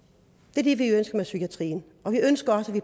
det er det vi ønsker med psykiatrien og vi